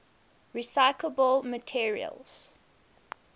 recyclable materials